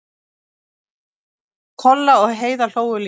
Kolla og Heiða hlógu líka.